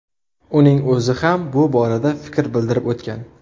Uning o‘zi ham bu borada fikr bildirib o‘tgan.